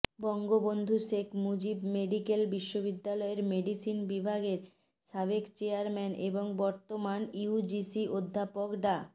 Bangabandhu Sheikh Mujib medical বিশ্ববিদ্যালয়ের মেডিসিন বিভাগের সাবেক চেয়ারম্যান এবং বর্তমান ইউজিসি অধ্যাপক ডা